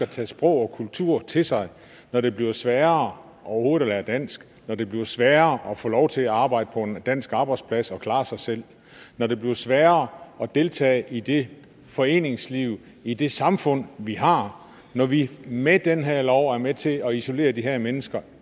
tage sprog og kultur til sig når det bliver sværere overhovedet at lære dansk når det bliver sværere at få lov til at arbejde på en dansk arbejdsplads og klare sig selv når det bliver sværere at deltage i det foreningsliv i det samfund vi har når vi med den her lov er med til at isolere de her mennesker